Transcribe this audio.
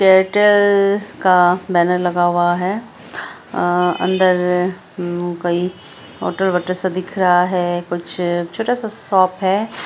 Airtel का banner लगा हुआ है अ अंदर कोई फोटो वोटो सा दिख रहा है कुछ छोटा सा शॉप है।